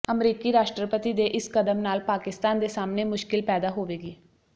ਅਮਰੀਕੀ ਰਾਸ਼ਟਰਪਤੀ ਦੇ ਇਸ ਕਦਮ ਨਾਲ ਪਾਕਿਸਤਾਨ ਦੇ ਸਾਹਮਣੇ ਮੁਸ਼ਕਿਲ ਪੈਦਾ ਹੋਵੇਗੀ